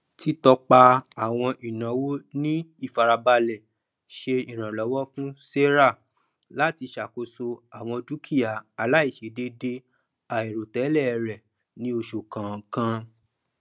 títọpa àwọn ináwó ní ìfarabalẹ ṣe ìrànlọwọ fún sarah láti ṣàkóso àwọn dúkìà aláìṣèdẹédé àìròtẹlẹ rẹ ní oṣù kọọkan